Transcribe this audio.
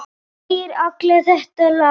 Sagðir alltaf þetta lagast.